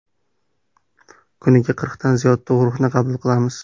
Kuniga qirqdan ziyod tug‘ruqni qabul qilamiz.